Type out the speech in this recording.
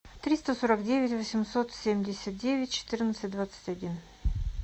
триста сорок девять восемьсот семьдесят девять четырнадцать двадцать один